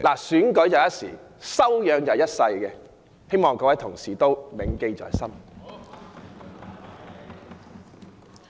選舉是一時，但修養是一生的，希望各位同事銘記在心。